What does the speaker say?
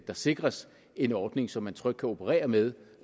der sikres en ordning så man trygt kan operere med